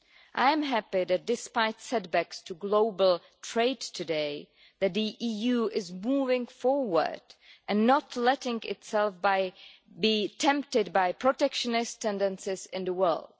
I am happy that, despite setbacks to global trade today, the EU is moving forward and not letting itself be tempted by protectionist tendencies in the world.